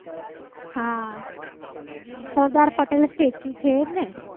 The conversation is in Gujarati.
હા. સરદાર પટેલ સ્ટેચ્યુ statue છે એ જ ને